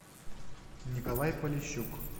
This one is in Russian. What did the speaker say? николай полищук